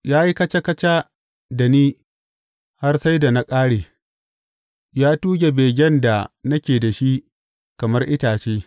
Ya yi kaca kaca da ni har sai da na ƙare; ya tuge begen da nake da shi kamar itace.